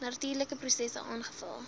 natuurlike prosesse aangevul